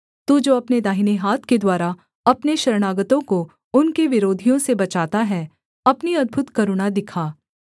तू जो अपने दाहिने हाथ के द्वारा अपने शरणागतों को उनके विरोधियों से बचाता है अपनी अद्भुत करुणा दिखा